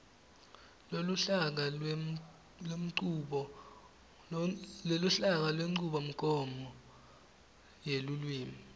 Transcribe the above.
loluhlaka lwenchubomgomo yelulwimi